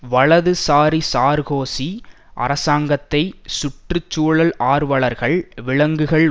வலதுசாரி சார்க்கோசி அரசாங்கத்தை சுற்று சூழல் ஆர்வலர்கள் விலங்குகள்